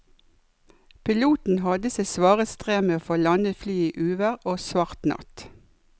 Piloten hadde sitt svare strev med å få landet flyet i uvær og svart natt.